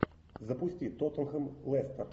запусти тоттенхэм лестер